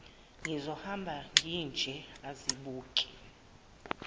ngizohamba nginje azibuke